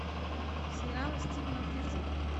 сериал стивена фрирза